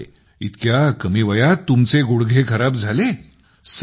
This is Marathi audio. अरे बापरे एवढ्या कमी वयात तुमचे गुडघे खराब झाले